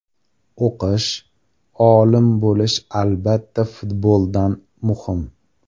O‘qish, olim bo‘lish albatta futboldan muhim.